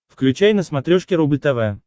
включай на смотрешке рубль тв